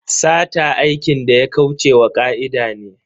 Sata aikin da ya kauce wa ka'ida ne.